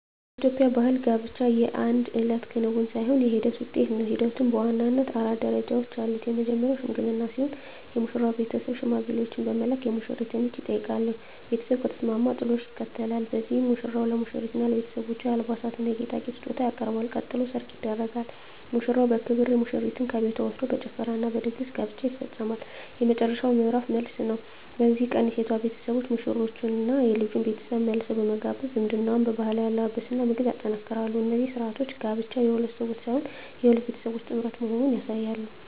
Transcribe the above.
በኢትዮጵያ ባሕል ጋብቻ የአንድ እለት ክንውን ሳይሆን የሂደት ውጤት ነው። ሂደቱም በዋናነት አራት ደረጃዎች አሉት። መጀመርያው "ሽምግልና" ሲሆን፣ የሙሽራው ቤተሰብ ሽማግሌዎችን በመላክ የሙሽሪትን እጅ ይጠይቃሉ። ቤተሰብ ከተስማማ "ጥሎሽ" ይከተላል፤ በዚህም ሙሽራው ለሙሽሪትና ለቤተሰቦቿ የአልባሳትና የጌጣጌጥ ስጦታ ያቀርባል። ቀጥሎ "ሰርግ" ይደረጋል፤ ሙሽራው በክብር ሙሽሪትን ከቤቷ ወስዶ በጭፈራና በድግስ ጋብቻው ይፈጸማል። የመጨረሻው ምዕራፍ "መልስ" ነው። በዚህ ቀን የሴቷ ቤተሰቦች ሙሽሮቹንና የልጁን ቤተሰብ መልሰው በመጋበዝ ዝምድናውን በባህላዊ አለባበስና ምግብ ያጠናክራሉ። እነዚህ ሥርዓቶች ጋብቻው የሁለት ሰዎች ብቻ ሳይሆን የሁለት ቤተሰቦች ጥምረት መሆኑን ያሳያሉ።